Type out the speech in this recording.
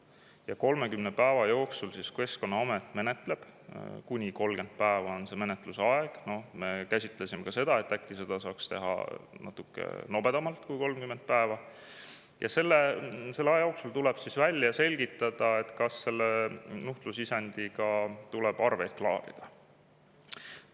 Ja 30 päeva jooksul siis Keskkonnaamet menetleb – kuni 30 päeva on see menetluse aeg, me käsitlesime ka seda, et äkki seda saaks teha natukene nobedamalt kui 30 päeva – ja selle aja jooksul tuleb välja selgitada, kas selle nuhtlusisendiga tuleb arveid klaarida.